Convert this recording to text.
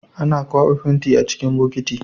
Ana kwaba fenti a cikin bokiti